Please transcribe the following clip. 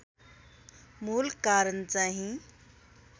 मूल कारण चाहिँ